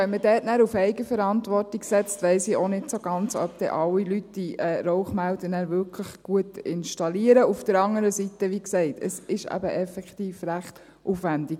Wenn man hier auf Eigenverantwortung setzt, weiss ich auch nicht, ob wirklich alle Leute diese Rauchmelder richtig installieren.